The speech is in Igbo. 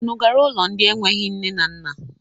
Unu gara ụlọ ndị enweghi nne na nna?